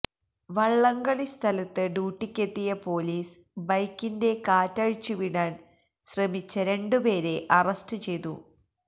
വള്ളംകളി സ്ഥലത്ത് ഡ്യൂട്ടിക്കെത്തിയ പോലീസ് ബൈക്കിന്റെ കാറ്റഴിച്ചുവിടാന് ശ്രമിച്ച രണ്ടുപേരെ അറസ്റ്റ് ചെയ്തു